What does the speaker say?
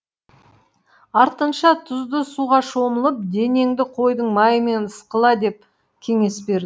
артынша тұзды суға шомылып денеңді қойдың майымен ысқыла деп кеңес берді